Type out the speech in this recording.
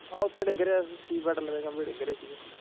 ਹਾਂ ਓਥੇ ਡਿੱਗ ਰਿਹਾ ਖਮਬੇ ਡਿੱਗ ਰਹੇ ਸੀ।